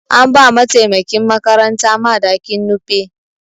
An ba mataimakin makaranta madakin Nupe.